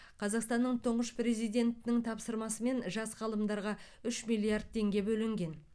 қазақстанның тұңғыш президентінің тапсырмасымен жас ғалымдарға үш миллиард теңге бөлінген